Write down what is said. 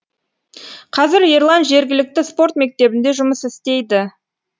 қазір ерлан жергілікті спорт мектебінде жұмыс істейді